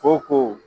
Ko ko